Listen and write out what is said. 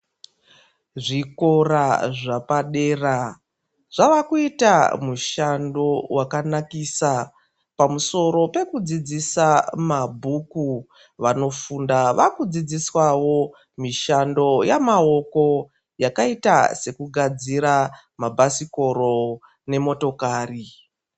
Zvikora zvepadera zvava kuita mushando wakanakisa pamusoro pekudzidzisa mabhuku vanofunda vakudzidziswa mishando yamaoko yakaita sekugadzira mabhasikoro nemotokari.